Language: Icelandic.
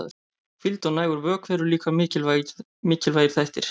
Hvíld og nægur vökvi eru líka mikilvægir þættir.